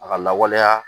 A ka lawaleya